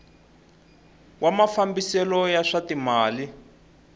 wa mafambiselo ya swa timal